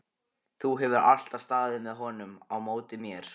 Þú hefur alltaf staðið með honum á móti mér.